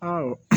Ɔ